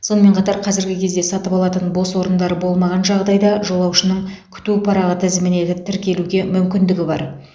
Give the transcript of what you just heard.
сонымен қатар қазіргі кезде сатып алатын бос орындар болмаған жағдайда жолаушының күту парағы тізіміне тіркелуге мүмкіндігі бар